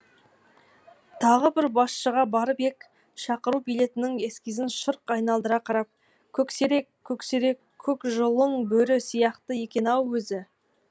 тағы бір басшыға барып ек шақыру билетінің эскизін шырқ айналдыра қарап көксерек көксерек көк жұлын бөрі сияқты екен ау өзі